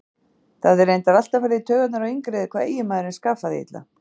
Það hafði reyndar alltaf farið í taugarnar á Ingiríði hvað eiginmaðurinn skaffaði illa.